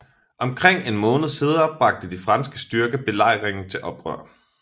Omkring en måned senere bragte de franske styrker belejringen til ophør